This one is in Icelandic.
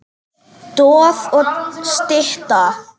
Stoð og stytta.